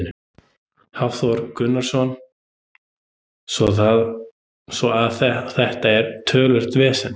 Hafþór Gunnarsson: Svo að þetta er töluvert vesen?